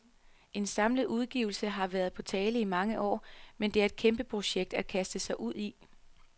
En samlet udgivelse har været på tale i mange år, men det er et kæmpeprojekt at kaste sig ud i.